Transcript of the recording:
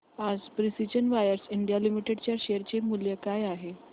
आज precision wires India limited च्या share चे मूल्य काय आहे